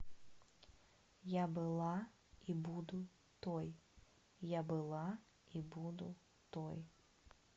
я была и буду той я была и буду той